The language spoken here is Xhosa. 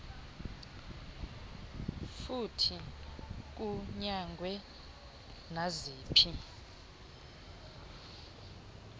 futhi kunyangwe naziphi